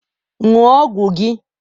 Ṅụọ ọgwụ gị!